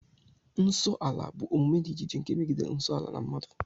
Nso ala bụ omume dị iche iche nke megidere nsọ ala na mmadụ